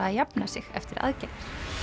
að jafna sig eftir aðgerðir